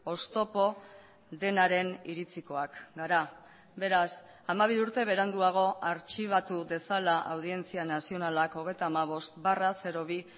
oztopo denaren iritzikoak gara beraz hamabi urte beranduago artxibatu dezala audientzia nazionalak hogeita hamabost barra bi